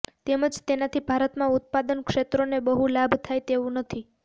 તેમજ તેનાથી ભારતમાં ઉત્પાદન ક્ષેત્રોને બહુ લાભ થાય તેવુ નથી